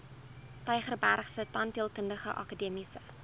tygerbergse tandheelkundige akademiese